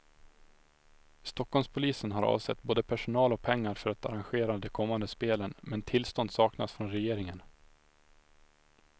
Stockholmspolisen har avsatt både personal och pengar för att arrangera de kommande spelen, men tillstånd saknas från regeringen.